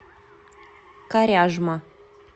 коряжма